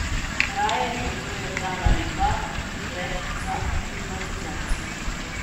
Raje žrtvujem dan ali dva več za aklimatizacijo.